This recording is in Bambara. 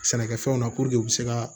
Sɛnɛkɛfɛnw na puruke u bɛ se ka